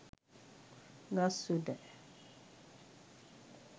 ගස් උඩ